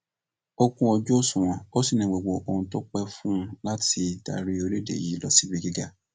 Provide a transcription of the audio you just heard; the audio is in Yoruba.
ó kún ojú òṣùwọn ó sì ní gbogbo ohun tó pẹ fún láti darí orílẹèdè yìí lọ sí ibi gíga